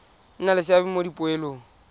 nna le seabe mo dipoelong